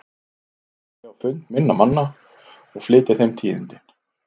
En nú ætla ég á fund minna manna og flytja þeim tíðindin.